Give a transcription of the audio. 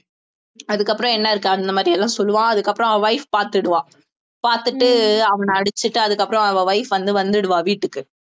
அதுக்கப்புறம் என்ன இருக்கு அந்த மாதிரி எல்லாம் சொல்லுவான் அதுக்கப்புறம் அவ wife பாத்துடுவா பார்த்துட்டு அவன அடிச்சுட்டு அதுக்கப்புறம் அவ wife வந்துடுவா வீட்டுக்கு